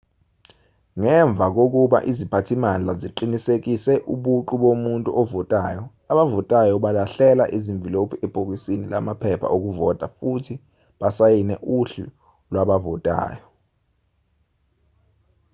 ngemva kokuba iziphathimandla ziqinisekise ubuqu bomuntu ovotayo abavotayo balahlela izimvilophu ebhokisini lamaphepha okuvota futhi basayine uhlu lwabavotayo